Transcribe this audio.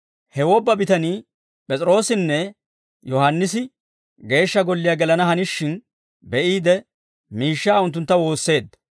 He wobba bitanii, P'es'iroossinne Yohaannisi Geeshsha Golliyaa gelana hanishin be'iide, miishshaa unttuntta woosseedda.